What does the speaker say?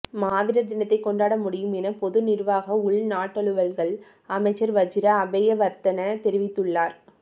மாவீரர் தினத்தை கொண்டாட முடியும் என பொது நிர்வாக உள்நாட்டலுவல்கள் அமைச்சா் வஜிர அபேயவா்த்தன தெரிவித்துள்ளார்